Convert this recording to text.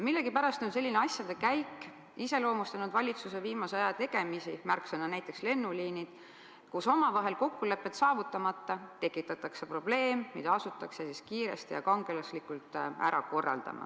Millegipärast on selline asjade käik iseloomustanud valitsuse viimase aja tegemisi, märksõna on näiteks "lennuliinid", kus omavahel kokkulepet saavutamata tekitatakse probleem, mida asutakse siis kiiresti ja kangelaslikult ära korraldama.